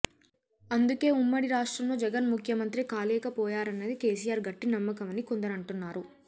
అందుకే ఉమ్మడి రాష్ట్రంలో జగన్ ముఖ్యమంత్రి కాలేకపోయారన్నది కేసీఆర్ గట్టి నమ్మకమని కొందరంటున్నారు